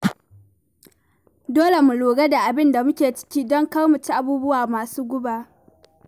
Dole mu lura da abin da muke ci, don kar mu ci abubuwa masu guba.